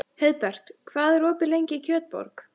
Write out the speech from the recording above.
Heiðbert, hvað er opið lengi í Kjötborg?